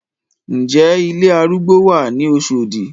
Ǹ jẹ́ ilé arúgbó wà ní Oṣọ̀dì?